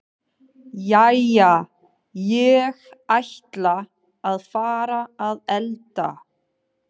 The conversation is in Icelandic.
Jæja, ég ætla að fara að elda.